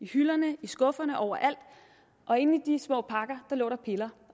hylderne i skufferne overalt og inde i de små pakker lå der piller